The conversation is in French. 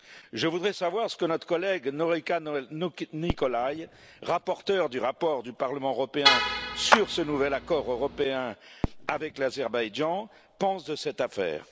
Je voudrais savoir ce que notre collègue Norica Nicolai, rapporteure du rapport du Parlement européen sur ce nouvel accord européen avec l'Azerbaïdjan, pense de cette affaire.